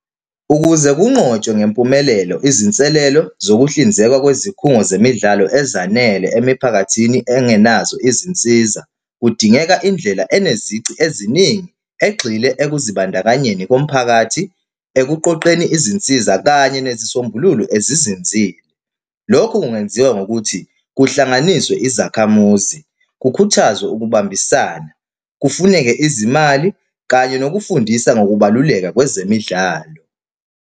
Ukuze kunqotshwe ngempumelelo izinselelo zokuhlinzeka kwezikhungo zemidlalo ezanele emiphakathini engenazo izinsiza, kudingeka indlela enezici eziningi egxile ekuzibandakanyeni komphakathi, ekuqoqeni izinsiza, kanye nezisombululo ezizinzile. Lokhu kungenziwa ngokuthi kuhlanganiswe izakhamuzi, kukhuthazwe ukubambisana, kufuneke izimali kanye nokufundisa ngokubaluleka kwezemidlalo.